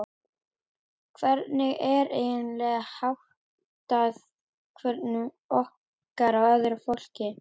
Hvernig er eiginlega háttað þekkingu okkar á öðru fólki?